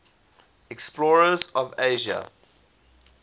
explorers of asia